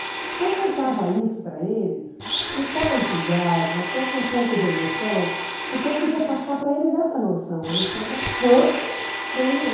Então eu contava isso para eles com tal entusiasmo, até com um pouco de emoção, porque eu queria passar para eles essa noção, a noção da força da união.